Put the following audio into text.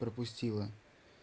пропустила